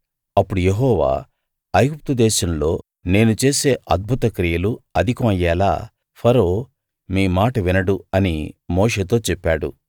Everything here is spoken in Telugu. అప్పుడు యెహోవా ఐగుప్తు దేశంలో నేను చేసే అద్భుత క్రియలు అధికం అయ్యేలా ఫరో మీ మాట వినడు అని మోషేతో చెప్పాడు